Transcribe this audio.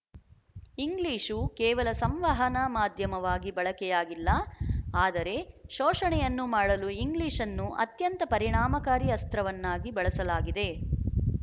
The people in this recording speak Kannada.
ಇಂಗ್ಲಿಶು ಕೇವಲ ಸಂವಹನ ಮಾಧ್ಯಮವಾಗಿ ಬಳಕೆಯಾಗಿಲ್ಲ ಆದರೆ ಶೋಶಣೆಯನ್ನು ಮಾಡಲು ಇಂಗ್ಲಿಶ್‌ನ್ನು ಅತ್ಯಂತ ಪರಿಣಾಮಕಾರಿ ಅಸ್ತ್ರವನ್ನಾಗಿ ಬಳಸಲಾಗಿದೆ